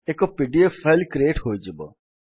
ଏକ PDF file create ହୋଇଯିବ